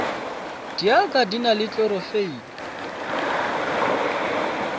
dialga di na le klorofile